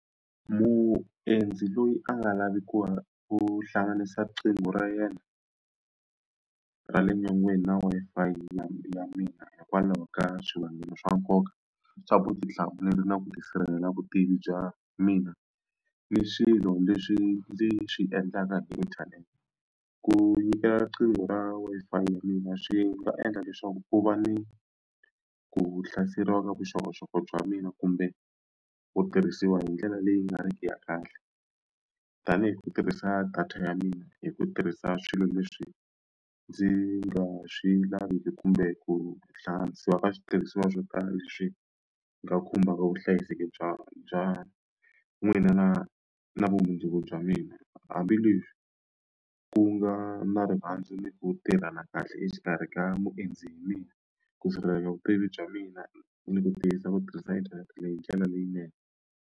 Muendzi loyi a nga lavi ku ku hlanganisa riqingho ra yena ra le nyongeni na Wi-Fi ya mina hikwalaho ka swivangelo swa nkoka swa vutihlamuleri na ku tisirhelela vutivi bya mina ni swilo leswi ndzi swi endlaka hi internet ku nyikela riqingho ra Wi-Fi ya mina swi nga endla leswaku ku va ni ku hlaseriwa ka vuxokoxoko bya mina kumbe ku tirhisiwa hindlela leyi nga riki ya kahle tanihi ku tirhisa data ya mina hi ku tirhisa swilo leswi ndzi nga swi laviki kumbe ku hlanganisiwa ka switirhisiwa swo tala leswi nga khumbaka vuhlayiseki bya bya mina na na vumundzuku bya mina hambileswi ku nga na rirhandzu ni ku tirhana kahle exikarhi ka muendzi hi mina ku sirheleleka vutivi bya mina ni ku tiyisa ku tirhisa internet leyi hi ndlela leyinene.